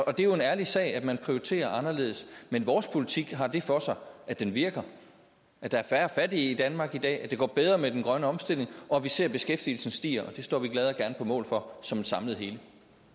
og det er jo en ærlig sag at man prioriterer anderledes men vores politik har det for sig at den virker at der er færre fattige i danmark i dag at det går bedre med den grønne omstilling og at vi ser beskæftigelsen stiger og det står vi glad og gerne på mål for som et samlet hele